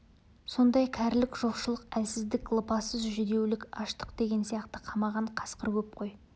сондай кәрілік жоқшылық әлсіздік лыпасыз жүдеулік аштық деген сияқты қамаған қасқыр көп қой